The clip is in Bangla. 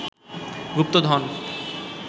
গুপ্তধন